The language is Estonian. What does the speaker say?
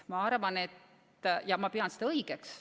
Ja ma pean seda õigeks.